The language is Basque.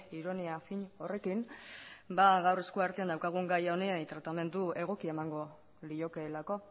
ironia fin horrekin gaur eskuartean daukagun gaia honi tratamendu egoki emango liokeelako